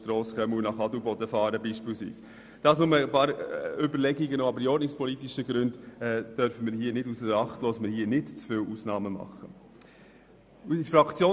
Das waren nur einige Überlegungen, aber die ordnungspolitischen Gründe dürfen wir hier nicht ausser Acht lassen: Dass wir nämlich nicht zu viele Ausnahmen machen sollten.